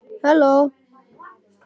Það var þeirra samskiptaform.